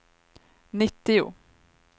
nittio